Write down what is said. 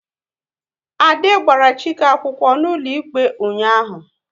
Ade gbara Chike akwụkwọ n'ụlọikpe ụnyaahụ